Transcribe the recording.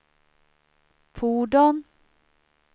fordon